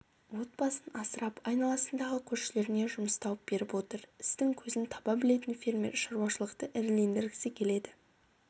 отбасын асырап айналасындағы көршілеріне жұмыс тауып беріп отыр істің көзін таба білетін фермер шаруашылықты ірілендіргісі келеді